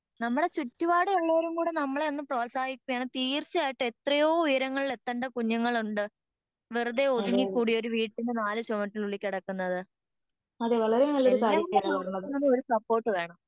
നമ്മടെ ചുറ്റുപാടും ഉള്ളവരും കൂടെ നമ്മളെ ഒന്ന് പ്രോഹത്സാഹിപ്പികെണെങ്കി തീർച്ചയായിട്ടും എത്രയോ ഉയരങ്ങളിൽ എത്തണ്ട കുഞ്ഞുങ്ങളുണ്ട് വെറുതെ ഒതുങ്ങിക്കൂടി ഒരു വീട്ടിൻ്റെ നാല് ചുമരിനുള്ളിൽ കെടക്കുന്നത് എല്ലാവരുടെ ഭാഗത്തുനിന്നും ഒരു സപ്പോർട്ട് വേണം